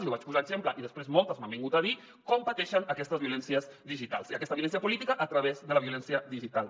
jo vaig posar l’exemple i després moltes m’han vingut a dir com pateixen aquestes violències digitals i aquesta violència política a través de la violència digital